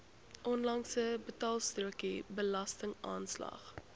onlangse betaalstrokie belastingaanslag